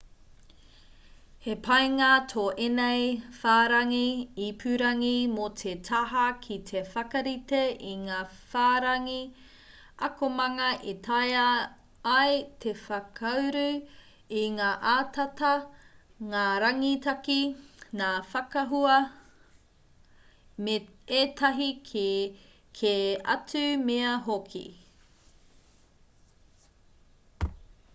he pāinga tō ēnei whārangi ipurangi mō te taha ki te whakarite i ngā whārangi akomanga e tāea ai te whakauru i ngā ataata ngā rangitaki ngā whakaahua me ētahi kē atu mea hoki